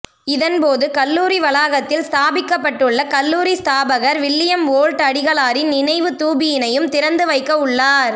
இதன் போது கல்லூரி வளாகத்தில் ஸ்தாபிக்கப்பட்டுள்ள கல்லூரி ஸ்தாபகர் வில்லியம் ஓல்ட் அடிகளாரின் நினைவு தூபியினையும் திறந்து வைக்கவுள்ளார்